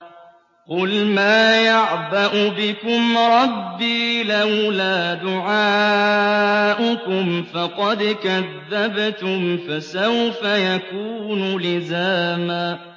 قُلْ مَا يَعْبَأُ بِكُمْ رَبِّي لَوْلَا دُعَاؤُكُمْ ۖ فَقَدْ كَذَّبْتُمْ فَسَوْفَ يَكُونُ لِزَامًا